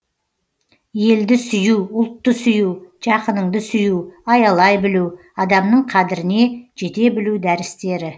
елді сүю ұлтты сүю жақыныңды сүю аялай білу адамның қадіріне жете білу дәрістері